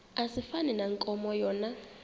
asifani nankomo yona